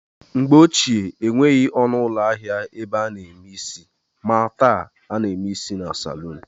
Mgbe ochie enweghị ọnụụlọ ahịa ebe a na-eme isi maa taa, a na-eme isi na salun